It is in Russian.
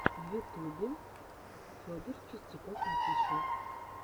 в ютубе федор чистяков офишал